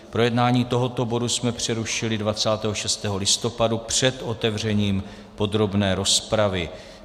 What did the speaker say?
Projednávání tohoto bodu jsme přerušili 26. listopadu před otevřením podrobné rozpravy.